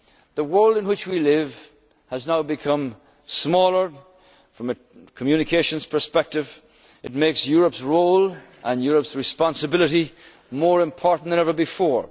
made good progress. The world in which we live has now become smaller, from a communications perspective, it makes Europe's role and Europe's responsibility more important